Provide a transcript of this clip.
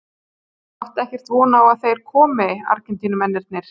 Áttu ekkert von á að þeir komi Argentínumennirnir?